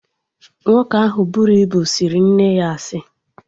Nwoke ahụ buru ibu sịrị nne ya asị